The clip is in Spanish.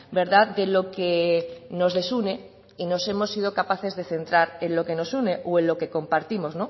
verdad de lo que nos desune y nos hemos sido capaces de centrar en lo que nos une o en lo que compartimos